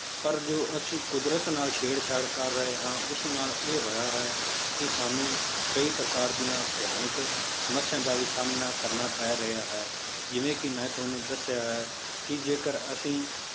ਪਰ ਜੋ ਅਸੀਂ ਕੁਦਰਤ ਨਾਲ ਛੇੜਛਾੜ ਕਰ ਰਹੇ ਹਾਂ ਉਸ ਨਾਲ ਇਹ ਹੋਇਆ ਹੈ, ਕਿ ਸਾਨੂੰ ਕਈ ਪ੍ਰਕਾਰ ਦੀਆਂ ਭਿਆਨਕ ਸਮੱਸਿਆ ਦਾ ਵੀ ਸਾਹਮਣਾ ਕਰਨਾ ਪੈ ਰਿਹਾ ਹੈ, ਜਿਵੇਂ ਕਿ ਮੈਂ ਤੁਹਾਨੂੰ ਦੱਸਿਆ ਹੈ ਕਿ ਜੇਕਰ ਅਸੀਂ